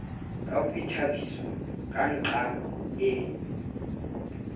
ka boithabiso ka nqa e